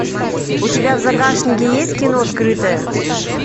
у тебя в загашнике есть кино скрытое